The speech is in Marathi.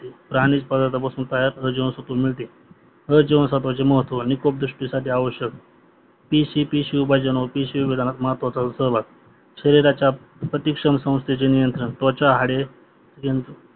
प्राणी खनिज प्रदार्थ पासून अ जीवनस्तवे मिळते अ जीवनसत्वचे महत्व निकोप दुष्टिसाठी आवश्यक पी सी पी शिवभोजनावर पी सी पी महत्वाचा सहभाग शरीराच्या प्रतिषम संस्थेचे नियंत्रण त्वच्या हाड अं